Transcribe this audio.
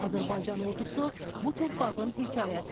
Azərbaycan ordusu bu torpağın hekayəsidir.